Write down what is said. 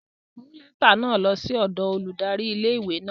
Mu lẹta náa lo si odo óludari ìlé-ìwé náa!